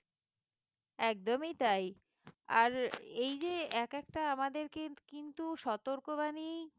একদমই তাই আর এই যে একেকটা আমাদেরকে কিন্তু সতর্কবাণী